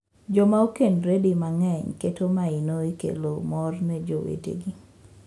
Joma okendore di mang’eny keto maino e kelo mor ne jowetegi.